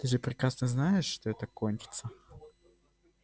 ты же прекрасно знаешь что это кончится